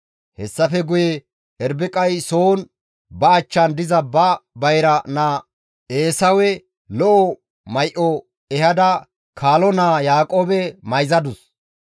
Hessafe guye Irbiqay soon ba achchan diza ba bayra naa Eesawe lo7o may7o ehada kaalo naaza Yaaqoobe mayzadus.